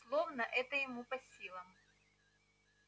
словно это ему по силам